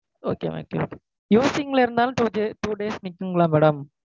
Okay okay using ல two days, days நிக்குங்களா madam?